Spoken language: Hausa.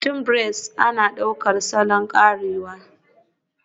Akwatin braids ana ɗaukar salon karewa